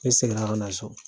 Ne seginna ka na so.